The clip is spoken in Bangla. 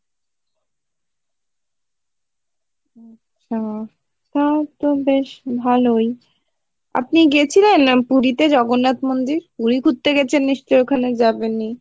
তাহলে তো বেশ ভালোই আপনি গেছিলেন পুরিতে জগন্নাথ মন্দির? পুরি ঘুরতে গেছেন নিশ্চই ওখানে যাবেনই?